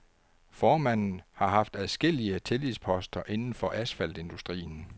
Formanden har haft adskillige tillidsposter inden for asfaltindustrien.